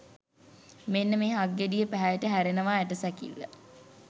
මෙන්න මේ හක්ගෙඩියේ පැහැයට හැරෙනවා ඇට සැකිල්ල.